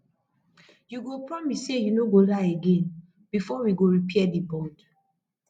you go promise sey you no go lie again before we go repair di bond